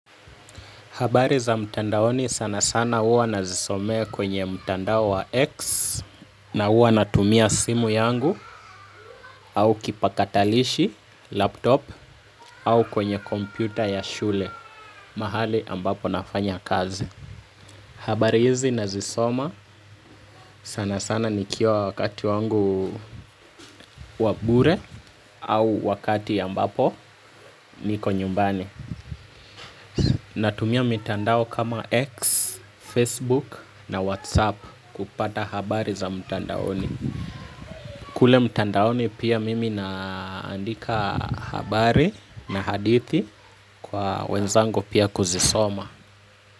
Habari za mtandaoni sana sana huwa nazisomea kwenye mtandao wa X na huwa natumia simu yangu au kipakatalishi laptop au kwenye kompyuta ya shule mahali ambapo nafanya kazi. Habari hizi nazisoma sana sana nikiwa wakati wangu wa bure au wakati ambapo niko nyumbani. Natumia mitandao kama X, Facebook na WhatsApp kupata habari za mtandaoni. Kule mtandaoni pia mimi naandika habari na hadithi kwa wenzangu pia kuzisoma.